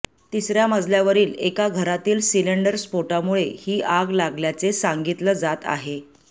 तिसऱ्या मजल्यावरील एका घरातील सिलेंडर स्फोटामुळे ही आग लागल्याचे सांगितलं जात आहे